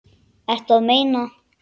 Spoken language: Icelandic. Ertu að meina.?